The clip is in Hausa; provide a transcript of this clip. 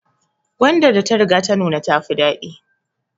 Gwadar da ta riga ta nuna ta fi dadi